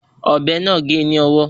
Ọ̀bẹ náà gé e ni ọwọ́